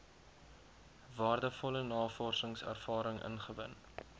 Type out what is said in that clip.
waardevolle navorsingservaring ingewin